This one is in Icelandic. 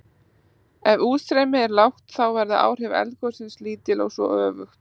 Ef útstreymi er lágt þá verða áhrif eldgossins lítil og svo öfugt.